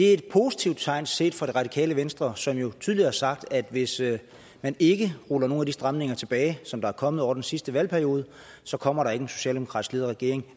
et positivt tegn set fra det radikale venstres synspunkt som jo tidligere har sagt at hvis man ikke ruller nogle af de stramninger tilbage som der er kommet over den sidste valgperiode så kommer der ikke en socialdemokratisk ledet regering